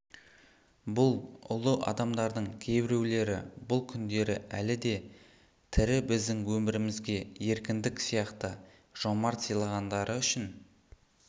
бұл ұлы адамдардың кейбіреулері бұл күндері әлі де тірі біздің өмірімізге еркіндік сияқты жомарт сыйлағандары үшін